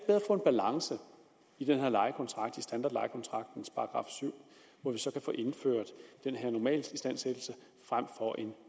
få en balance i den her lejekontrakt i standardlejekontraktens § syv hvor vi så kan få indført den her normalistandsættelse frem for en